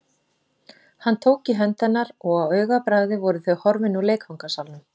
Hann tók í hönd hennar og á augabragði voru þau horfin úr leikfangasalnum.